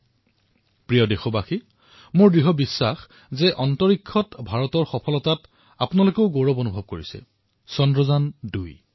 মোৰ মৰমৰ দেশবাসীসকল মোৰ সম্পূৰ্ণ বিশ্বাস যে আকাশৰ সীপাৰে মহাকাশত ভাৰতৰ সফলতাৰ বিষয়ে নিশ্চয়েই গৰ্ব হব চন্দ্ৰায়ন ২